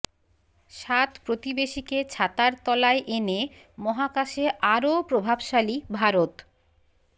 সাত প্রতিবেশীকে ছাতার তলায় এনে মহাকাশে আরও প্রভাবশালী ভারত